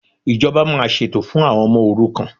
Ìjọba máa ṣètò fún àwọn ọmọ òrukàn